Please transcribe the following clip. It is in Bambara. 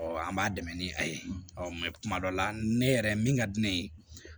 an b'a dɛmɛ ni a ye mɛ kuma dɔ la ne yɛrɛ min ka di ne ye